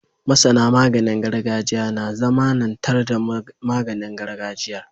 MasAna maganin gargajiya na zamAnan tar da maganin gargajiyar